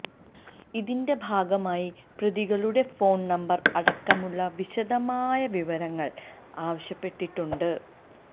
ഇതിന്റെ ഭാഗമായി പ്രതികളുടെ ഫോൺ നമ്പർ അടക്കമുള്ള വിശദമായ വിവരങ്ങൾ ആവശ്യപ്പെട്ടിട്ടുണ്ട്